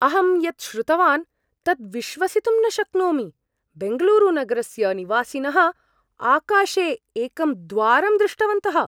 अहं यत् श्रुतवान् तत् विश्वसितुं न शक्नोमि, बेङ्गलूरुनगरस्य निवासिनः आकाशे एकं द्वारं दृष्टवन्तः!